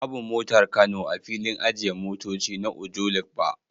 Babu motar kano a filin ajiye motoci na Ojuelegba